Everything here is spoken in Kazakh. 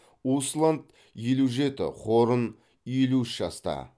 усланд елу жеті хорн елу үш жаста